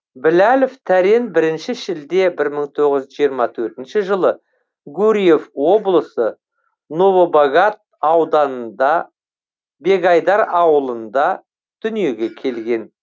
біләлов тәрен бірінші шілде бір мың тоғыз жүз жиырма төртінші жылы гурьев облысы новобогат ауданы бегайдар ауылында дүниеге келген